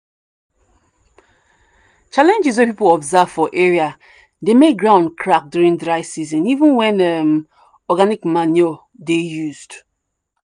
challenges wey people observe for area dey make ground crack during dry season even when um organic manure dey used.